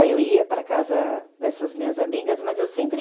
Aí eu ia para a casa dessas minhas amigas, mas eu sempre...